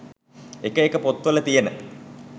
එක එක පොත් වල තියෙන